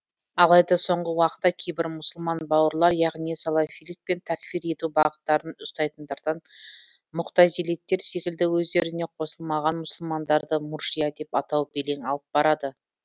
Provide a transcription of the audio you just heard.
алайда соңғы уақытта кейбір мұсылман бауырлар яғни салафилік пен тәкфир ету бағыттарын ұстайтындардан муғтазилиттер секілді өздеріне қосылмаған мұсылмандарды муржия деп атау белең алып барады